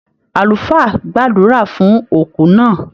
Àlùfáà gbàdúrà fún òkú náà.